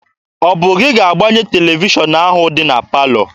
Ọ bụ gị ga-agbanye televishọn ahụ dị na palọ?